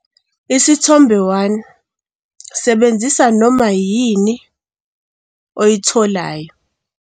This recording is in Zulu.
Isithombe 1- Sebenzisa noma yini oyitholayo.